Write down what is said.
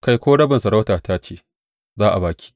Kai, ko rabin masarautata ce, za a ba ki.